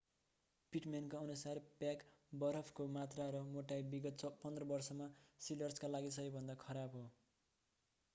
पिटम्यानका अनुसार प्याक बरफको मात्रा र मोटाई विगत 15 वर्षमा सिलर्सका लागि सबैभन्दा खराब हो